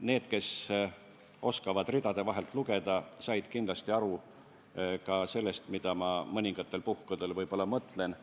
Need, kes oskavad ridade vahelt lugeda, said kindlasti aru sellest, mida ma mõningatel puhkudel mõtlesin,